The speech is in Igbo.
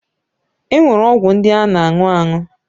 E nwere ọgwụ ndị a na aṅụ aṅụ.